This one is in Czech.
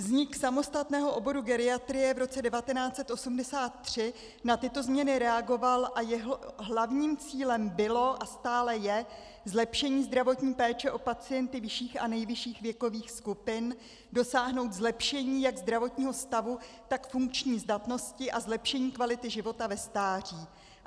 Vznik samostatného oboru geriatrie v roce 1983 na tyto změny reagoval a jeho hlavním cílem bylo a stále je zlepšení zdravotní péče o pacienty vyšších a nejvyšších věkových skupin, dosáhnout zlepšení jak zdravotního stavu, tak funkční zdatnosti a zlepšení kvality života ve stáří.